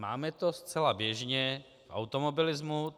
Máme to zcela běžně v automobilismu.